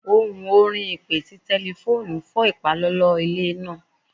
Ohun orin ipe ti tẹlifoonu fọ ipalọlọ ninu ile naa